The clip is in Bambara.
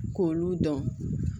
K'olu dɔn